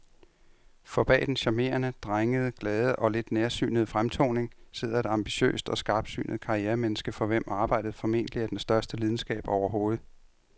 For bag den charmerende, drengede, glade og lidt nærsynede fremtoning sidder et ambitiøst og skarpsynet karrieremenneske, for hvem arbejdet formentlig er den største lidenskab overhovedet.